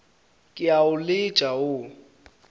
ke a o letša wo